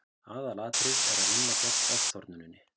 aðalatriðið er að vinna gegn ofþornuninni